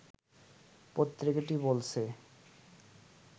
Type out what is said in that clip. পত্রিকাটি বলছে